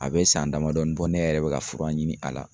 A bɛ san damadɔnin bɔ ne yɛrɛ bɛ ka fura ɲini a la.